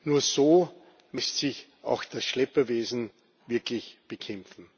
Nur so lässt sich auch das Schlepperwesen wirklich bekämpfen.